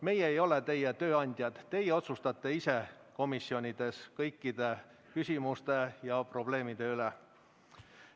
Meie ei ole teie tööandjad, teie otsustate ise komisjonides kõikide küsimuste ja probleemide üle.